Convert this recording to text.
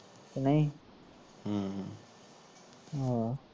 ਨਹੀਂ ਹਮ ਆਹ